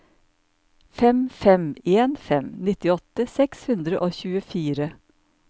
fem fem en fem nittiåtte seks hundre og tjuefire